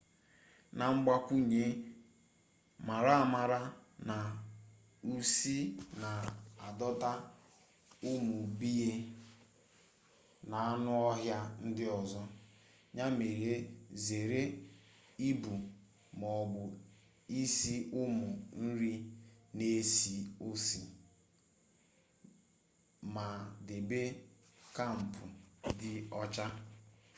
na mgbakwunye mara amara na usi na adọta ụmụ bea na anụ ọhịa ndị ọzọ ya mere zere ibu ma ọ bụ isi ụmụ nri na-esi usi ma debe kampụ dị ọcha